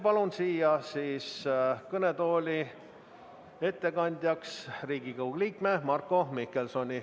Palun siia kõnetooli ettekandjaks Riigikogu liikme Marko Mihkelsoni.